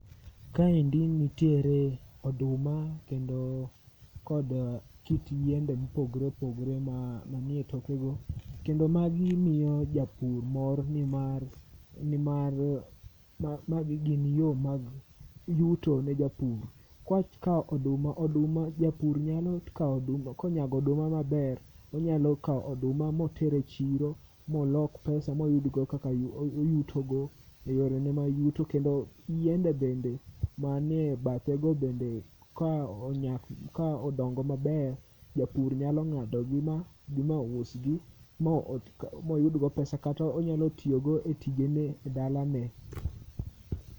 Kaendi nitiere oduma kendo kod kit yiende mopogre opogre ma, manie toke go. Kendo magi miyo japur mor nimar, nimar magi gin yo mag yuto ne japur. Kwa kawo oduma, oduma japur nyalo kawo oduma, konyago oduma maber tonyalo kawo oduma moter e chiro molok pesa moyudgo kaka oyutogo e yorene ma yuto. Kendo yiende bende manie bathe go bende ka onyak, ka odongo maber, japur nyalo ng'adogi ma bi ma usgi ma moyudgo pesa kata onyalo tiyogo e tijene e dala ne.